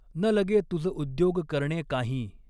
न लगॆ तुज उद्यॊग करणॆं कांहीं.